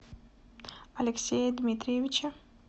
алексея дмитриевича